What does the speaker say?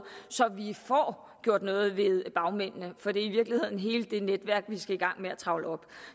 så vi får gjort noget ved bagmændenee for det er i virkeligheden hele det netværk vi skal i gang med at trævle op